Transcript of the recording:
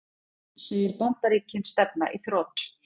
Segir Bandaríkin stefna í þrot